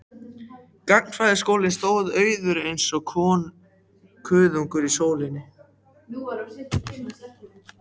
Gagnfræðaskólinn stóð auður eins og kuðungur í sólinni.